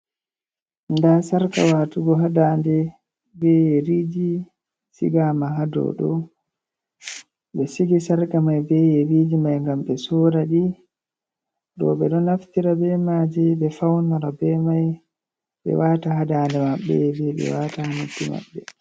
Ndaa sarka waatugo haa daande, be yeriiji sigaama, haa dow ɗo, ɓe sigi sarka may be yeriiji may, ngam ɓe soora ɗi. Ɗo ɓe ɗo naftira be maaji, ɓe fawnora be may, ɓe waata haa daande maɓɓe, ɓe waata haa noppi maɓɓe.